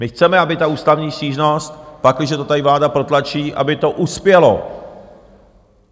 My chceme, aby ta ústavní stížnost, pakliže to tady vláda protlačí, aby to uspělo.